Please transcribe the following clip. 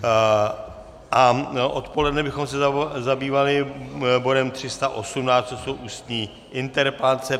A odpoledne bychom se zabývali bodem 318, což jsou ústní interpelace.